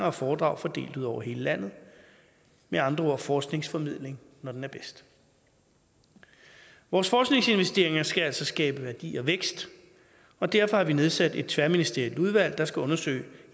og foredrag fordelt ud over hele landet med andre ord forskningsformidling når den er bedst vores forskningsinvesteringer skal altså skabe værdi og vækst og derfor har vi nedsat et tværministerielt udvalg der skal undersøge